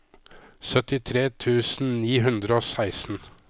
syttitre tusen ni hundre og seksten